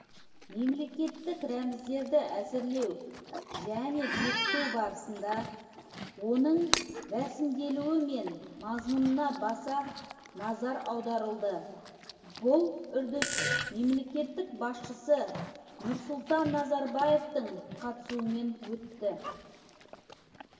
мемлекеттік рәміздерді әзірлеу және бекіту барысында оның рәсімделуі мен мазмұнына баса назар аударылды бұл үрдіс мемлекет басшысы нұрсұлтан назарбаевтың қатысуымен өтті